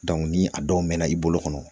ni a dɔw mɛna i bolo kɔnɔ